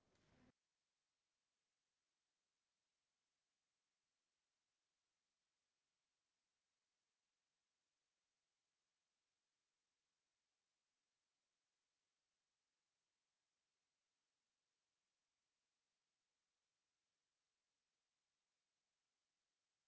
super